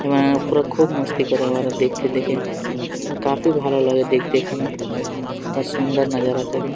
এবং উপরে খুব মস্তি করে ওরা দেখতে দেখে। কাফী ভালো লাগে দেখতে এখানে । বহুত সুন্দর নাজারা থাকে।